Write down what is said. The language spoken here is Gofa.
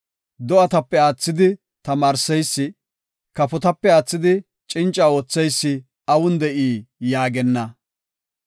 Do7atape aathidi tamaarseysi, kafotape aathidi cinca ootheysi awun de7i’ yaagenna.